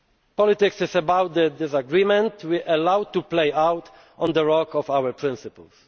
citizens. Politics is about the disagreement we allow to play out on the rock of our